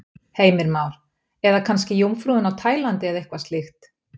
Heimir Már: Eða kannski Jómfrúin á Tælandi eða eitthvað slíkt?